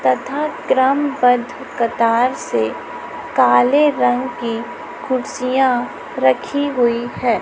तथा क्रमबद्ध कतार से काले रंग की कुर्सियां रखी हुई हैं।